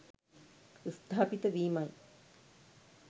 ස්ථාපිත වීමයි.